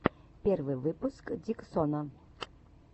первый выпуск диксона